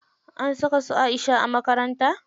An saka su Aisha a makaranta?